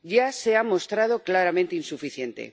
Ya se ha mostrado claramente insuficiente.